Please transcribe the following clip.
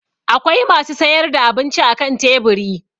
Akwai masu sayar da abinci akan teburi.